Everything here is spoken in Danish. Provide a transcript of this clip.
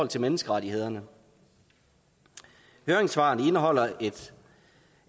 til menneskerettighederne høringssvarene indeholder et